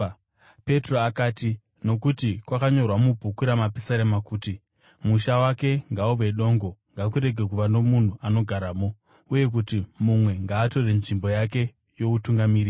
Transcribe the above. Petro akati, “Nokuti kwakanyorwa mubhuku raMapisarema kuti, “ ‘Musha wake ngauve dongo; ngakurege kuva nomunhu anogaramo,’ uye kuti, “ ‘Mumwe ngaatore nzvimbo yake youtungamiri.’